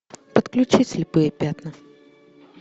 подключи слепые пятна